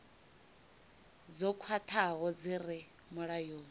dzo khwathaho dzi re mulayoni